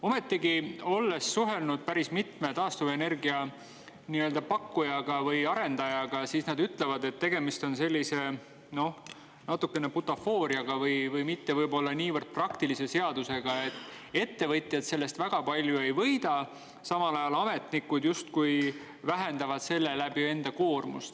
Ometigi, kui ma olen suhelnud päris mitme taastuvenergia pakkuja või arendajaga, siis nad on öelnud, et tegemist on sellise, noh, natuke nagu butafooriaga või mitte võib-olla niivõrd praktilise seadusega: ettevõtjad sellest väga palju ei võida, samal ajal ametnikud justkui vähendavad selle läbi enda koormust.